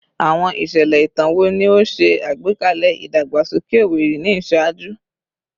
Awọn iṣẹlẹ itan wo ni o ṣe agbekalẹ idagbasoke Owerri ni iṣaaju?